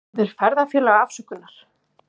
Biður ferðafélaga afsökunar